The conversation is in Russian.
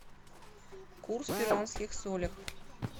курс перуанских солях